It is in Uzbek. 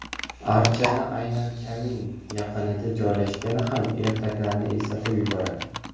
Archani aynan kamin yaqinida joylashgani ham ertaklarni eslatib yuboradi.